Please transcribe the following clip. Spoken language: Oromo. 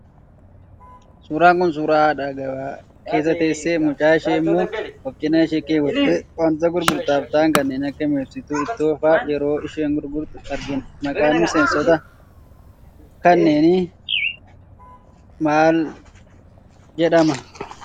Suuraan Kun, suuraa haadha gabaa keessa teessee, mucaa ishee immoo of cina ishee keewwattee waantota gurgurtaaf ta'an kanneen akka mi'eessituu ittoo fa'aa yeroo isheen gurgurtu argina. Maqaan mi'eessitoota kanneenii maal jedhama?